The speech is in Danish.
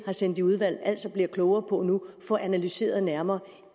har sendt i udvalg altså bliver klogere på nu og får analyseret nærmere